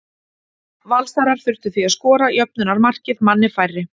Valsarar þurftu því að skora jöfnunarmarkið manni færri.